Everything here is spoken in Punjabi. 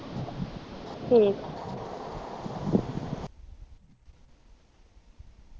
ਠੀਕ